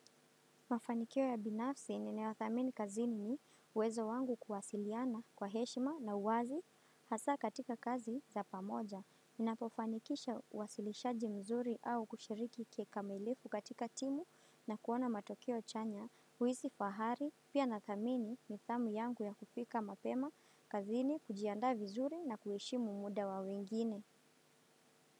Mafanikio ya binafsi ninaodhamini kazini ni uwezo wangu kuwasiliana kwa heshima na uwazi hasa katika kazi za pamoja. Ninapofanikisha uwasilishaji mzuri au kushiriki kikamilifu katika timu na kuona matokeo chanya, huhisi fahari, pia nathamini nidhamu yangu ya kufika mapema kazini kujiandaa vizuri na kuheshimu muda wa wengine.